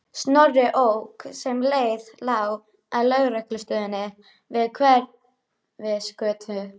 Snorri ók sem leið lá að lögreglustöðinni við Hverfisgötu.